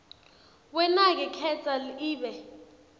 wenake khetsa ibe